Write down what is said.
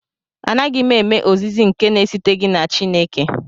Anaghị m eme ozizi nke na-esiteghị na Chineke